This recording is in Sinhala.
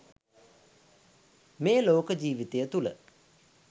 මේ ලෝක ජීවිතය තුළ